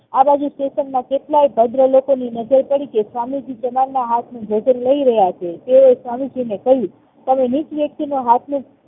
આબાજુ station માં કેરટલાંય ભદ્ર લોકોની નજર પડી કે સ્વામીજી ના હાથ નું ભોજન લાઈરહ્યા છે તેઓએ સ્વામીજીને કહ્યું તમે નીચ વ્યક્તિના હાથનું